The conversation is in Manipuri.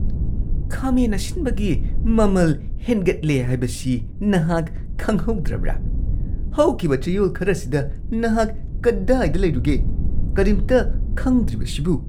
ꯈꯥꯃꯦꯟ ꯑꯁꯤꯟꯕꯒꯤ ꯃꯃꯜ ꯍꯦꯟꯒꯠꯂꯦ ꯍꯥꯢꯕꯁꯤ ꯅꯍꯥꯛ ꯈꯪꯍꯧꯗ꯭ꯔꯕ꯭ꯔꯥ ? ꯍꯧꯈꯤꯕ ꯆꯌꯣꯜ ꯈꯔꯁꯤꯗ ꯅꯍꯥꯛ ꯀꯗꯥꯏꯗ ꯂꯩꯔꯨꯒꯦ, ꯀꯔꯤꯝꯇ ꯈꯪꯗ꯭ꯔꯤꯕꯁꯤꯕꯨ ?